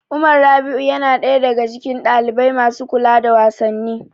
Umar Rabi'u yana ɗaya daga cikin ɗalibai masu kula da wasanni.